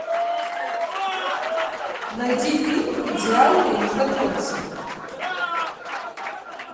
найди фильм идеальные незнакомцы